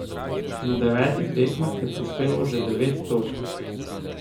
Na devetih tekmah je prispeval že devet točk.